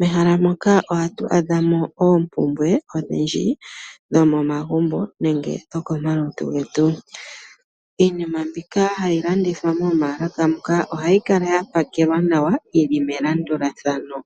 mehala moka ohatu adha mo oompumbwe odhindji dho momagumbo nenge dho komalutu getu, iinima mbika hayi landithwa momaalaka muka ohayi kala ya pakelwa nawa yi li melandulathano